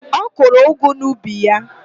Ọ kụrụ ụgụ n'ubi ya?